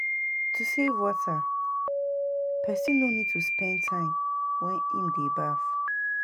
To save water, person no need to spend time wen im dey baf